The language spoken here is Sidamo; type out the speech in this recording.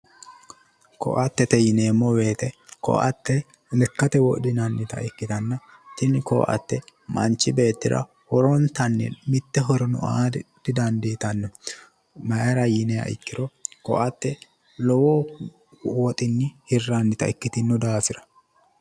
Koattete yineemmo woyite koatte lekkate wodhinannita ikkitanna tini koatte manchi beettira horontanni mitte horono aate didandiitanno. Mayira yiniha ikkiro koatte lowo woxinni hirrannita ikkitinno daafira.